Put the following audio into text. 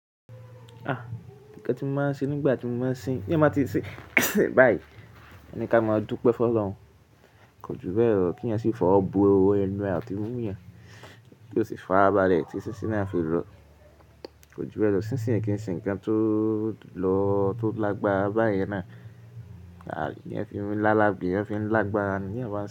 Ah! Ǹkan tí mo máa ń ṣe nígbà tí mo bá sin, bí mo bá ti ṣe báyìí, ẹni ki a máa dúpẹ́ fún Ọlọ́run. Kò jú bẹ́ẹ̀ lọ kí ẹ̀yin sì fọwọ́ bu ewu ẹnu àti imú yẹn, kí ó sì fi arabàlẹ̀ tí sísíná fi lọ. Kò jú bẹ́ẹ̀ lọ, sísìn kì í ṣe ǹkan tó lọ tó lágbára báyìí náà. Àbí yẹn fi ń lálàgbé, yẹn fi ń lágbára ni yẹn máa ń ṣe.